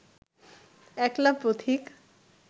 একলা পথিক